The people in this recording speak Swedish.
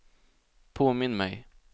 påminn mig